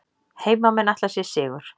Heimamenn ætla sér sigur